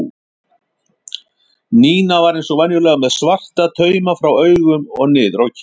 Nína var eins og venjulega með svarta tauma frá augum og niður á kinn.